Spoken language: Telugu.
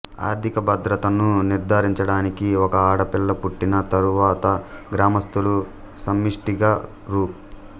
ఆర్థికభద్రతను నిర్ధారించడానికి ఒక ఆడపిల్ల పుట్టిన తరువాతగ్రామస్తులు సమిష్టిగా రూ